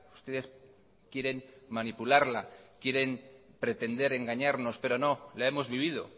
ustedes quieren manipularla quieren pretender engañarnos pero no la hemos vivido